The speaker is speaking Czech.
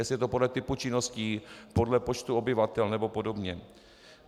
Jestli je to podle typu činností, podle počtu obyvatel nebo podobně.